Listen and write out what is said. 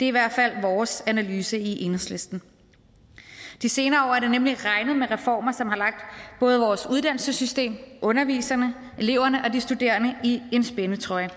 i hvert fald vores analyse i enhedslisten de senere år har det nemlig regnet med reformer som har lagt både vores uddannelsessystem underviserne eleverne og de studerende i en spændetrøje